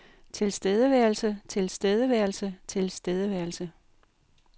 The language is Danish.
tilstedeværelse tilstedeværelse tilstedeværelse